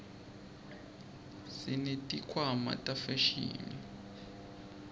sesineti khwama tefashini